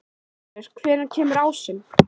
Ylur, hvenær kemur ásinn?